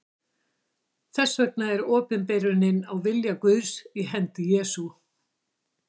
Þess vegna er opinberunin á vilja Guðs í hendi Jesú.